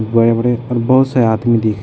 बड़े-बड़े पुल पर बहुत से आदमी दिख --